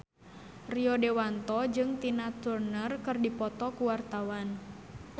Rio Dewanto jeung Tina Turner keur dipoto ku wartawan